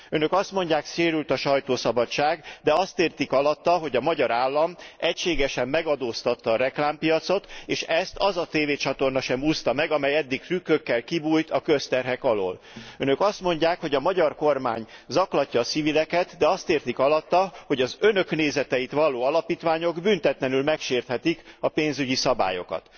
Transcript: Önök azt mondják, sérült a sajtószabadság, de azt értik alatta, hogy a magyar állam egységesen megadóztatta a reklámpiacot, és ezt az a tévécsatorna sem úszta meg, amely eddig trükkökkel kibújt a közterhek alól. Önök azt mondják, hogy a magyar kormány zaklatja a civileket, de azt értik alatta, hogy az Önök nézeteit valló alapítványok büntetlenül megsérthetik a pénzügyi szabályokat.